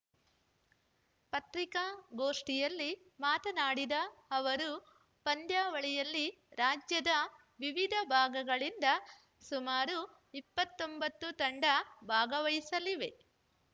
ಪತ್ರಿಕಾಗೋಷ್ಠಿಯಲ್ಲಿ ಮಾತನಾಡಿದ ಅವರು ಪಂದ್ಯಾವಳಿಯಲ್ಲಿ ರಾಜ್ಯದ ವಿವಿಧ ಭಾಗಗಳಿಂದ ಸುಮಾರು ಇಪ್ಪತ್ತ್ ಒಂಬತ್ತು ತಂಡ ಭಾಗವಹಿಸಲಿವೆ